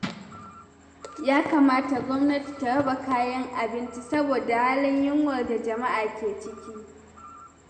Ya kamata gwamnati ta raba kayan abinci, saboda halin yunwar da jama'a ke ciki